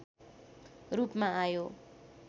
रूपमा आयो